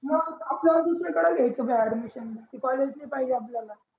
मंग आपल्याला दुसरे कडे घ्यायच भाई admission ते collage नई पाहिजे आपल्याला